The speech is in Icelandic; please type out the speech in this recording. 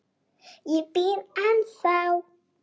Ég bíð ennþá!